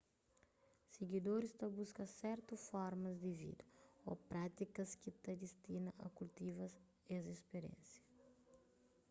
sigidoris ta buska sertu formas di vida ô prátikas ki ta distina a kultiva es spiriénsia